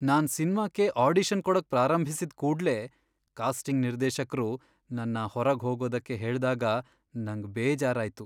ನಾನ್ ಸಿನ್ಮಾಕ್ಕೆ ಆಡಿಷನ್ ಕೊಡಕ್ ಪ್ರಾರಂಭಿಸಿದ್ ಕೂಡ್ಲೇ ಕಾಸ್ಟಿಂಗ್ ನಿರ್ದೇಶಕ್ರು ನನ್ನ ಹೊರ್ಗ್ ಹೋಗೋದಕ್ಕೆ ಹೇಳ್ದಾಗ ನಂಗ್ ಬೇಜಾರ್ ಆಯ್ತು.